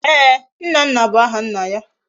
Eeh! Nnanna bu aha nna ya